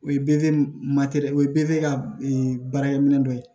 O ye o ye ka baarakɛminɛ dɔ ye